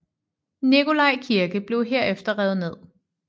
Nicolai Kirke blev herefter revet ned